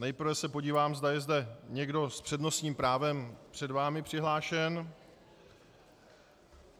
Nejprve se podívám, zda je zde někdo s přednostním právem před vámi přihlášen.